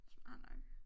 Smart nok